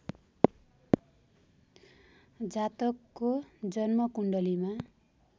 जातकको जन्मकुण्डलीमा